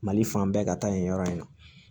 Mali fan bɛɛ ka taa yen yɔrɔ in na